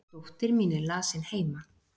dóttir mín er lasin heima